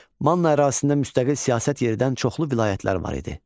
Manna ərazisində müstəqil siyasət yeridən çoxlu vilayətlər var idi.